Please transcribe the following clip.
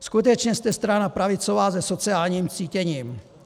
Skutečně jste strana pravicová se sociálním cítěním.